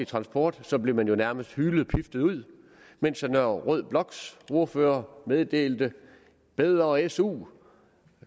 transport så blev man jo nærmest hylet eller piftet ud mens den røde bloks ordførere meddelte bedre su